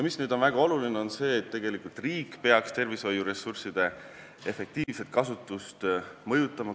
Nüüd on väga oluline see, et riik peaks tervishoiuressursside efektiivset kasutust mõjutama.